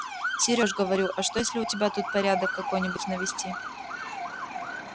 серёж говорю а что если у тебя тут порядок какой-нибудь навести